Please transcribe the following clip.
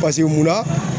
munna